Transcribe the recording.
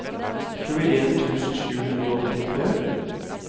tjueen tusen sju hundre og åttitre